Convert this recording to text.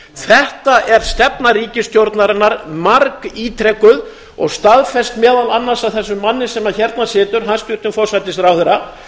þetta er stefna ríkisstjórnarinnar margítrekuð og staðfest meðal annars af þessum manni sem hérna situr hæstvirtur forsætisráðherra